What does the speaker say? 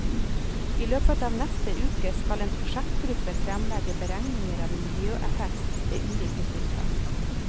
I løpet av neste uke skal en prosjektgruppe fremlegge beregninger av miljøeffekt ved ulike tiltak.